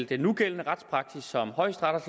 den nugældende retspraksis som højesteret